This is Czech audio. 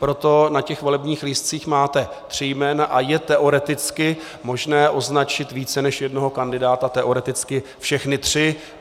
Proto na těch volebních lístcích máte tři jména a je teoreticky možné označit více než jednoho kandidáta, teoreticky všechny tři.